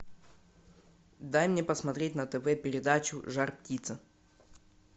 дай мне посмотреть на тв передачу жар птица